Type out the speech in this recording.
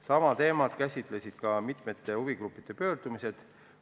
Sama teemat käsitlesid ka mitme huvigrupi pöördumised.